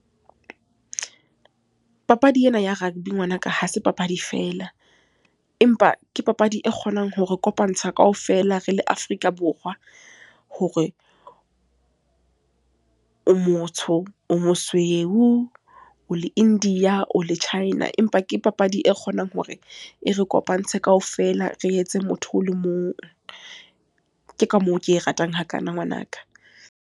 Papadi ena ya rugby ngwanaka, ha se papadi fela. Empa ke papadi e kgonang hore kopantsha kaofela re le Afrika Borwa. Hore o motsho, o mosweu, o le India, o le China. Empa ke papadi e kgonang hore, e re kopantshe kaofela re etse motho o le mong. Ke ka moo ke e ratang hakana ngwanaka.